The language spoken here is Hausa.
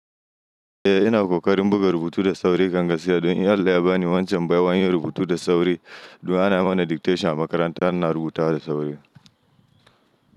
Eh ina kokarin buga rubutu da sauri kanga sai don in Allah ya bani wancan baiwan yin rubutu da sauri. Du'a na mana dictation a makaranta rina rubuta da sauri.